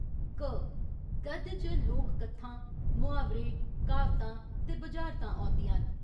क, गद्य च लोक कत्थां, मुहावरे, क्हावतां ते बुझारतां औंदियां न।